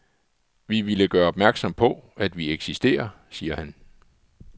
Vi ville gøre opmærksom på, at vi eksisterer, siger han.